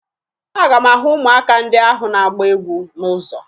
Aga m ahụ ụmụaka ndị ahụ na-agba egwu n'ụzọ